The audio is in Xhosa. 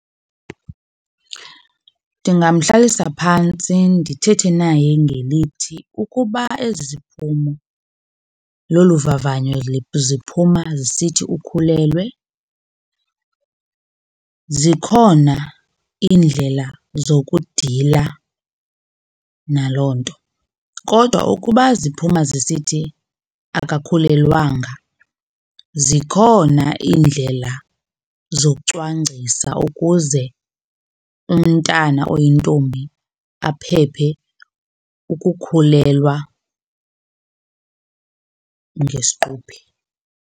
Ndingamhlalisa phantsi ndithethe naye ngelithi ukuba ezi ziphumo lolu vavanyo ziphuma zisithi ukhulelwe zikhona iindlela zokudila naloo nto. Kodwa ukuba ziphuma zisithi akakhulelwanga zikhona iindlela zocwangcisa ukuze umntana oyintombi aphephe ukukhulelwa ngesiquphe.